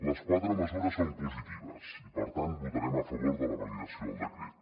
les quatre mesures són positives i per tant votarem a favor de la validació del decret